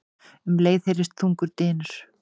Um leið heyrðist þungur dynur.